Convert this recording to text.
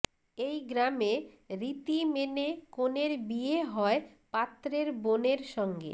এই গ্রামে রীতি মেনে কনের বিয়ে হয় পাত্রের বোনের সঙ্গে